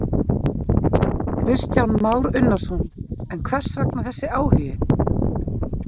Kristján Már Unnarsson: En hvers vegna þessi áhugi?